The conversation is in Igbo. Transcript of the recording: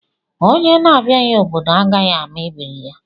Onye na abịaghị obodo agaghị ama ebiri ya